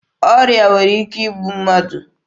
Ọrịa nwere ike igbu mmadụ.